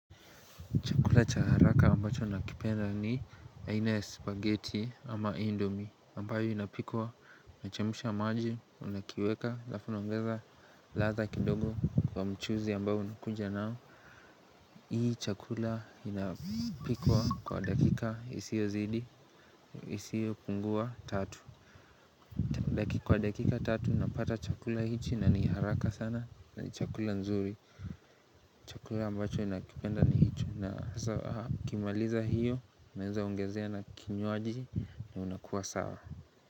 Chakula cha haraka ambacho nakipenda ni aina ya spaghetti ama indomi ambayo inapikwa, unachemsha maji, unakiweka, alafu unaongeza ladha kidogo kwa mchuuzi ambao unakuja nao Hii chakula inapikwa kwa dakika, isio zidi, isio pungua tatu Kwa dakika tatu napata chakula hichi na ni haraka sana, ni chakula nzuri Chakula ambacho nakipenda ni hicho na nikimaliza hiyo naweza ongezea na kinywaji ni unakuwa sawa.